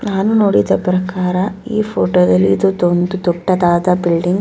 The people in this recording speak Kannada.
ನಾನು ನೋಡಿದ ಪ್ರಕಾರ ಈ ಫೋಟೋ ದಲ್ಲಿ ಇದು ಒಂದು ದೊಡ್ಡದಾದ ಬಿಲ್ಡಿಂಗ್ .